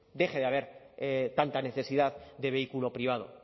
deje de haber tanta necesidad de vehículo privado